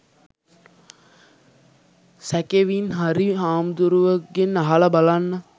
සැකෙවින් හරි හමුදුරුවෙක්ගෙන් අහල බලන්න.